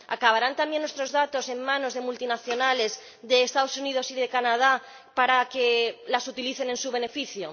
¿Acabarán también nuestros datos en manos de multinacionales de los Estados Unidos y de Canadá para que los utilicen en su beneficio?